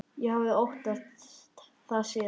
Ég hafði óttast þá síðan.